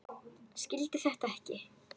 Skildi þetta ekki.